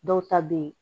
Dɔw ta bɛ ye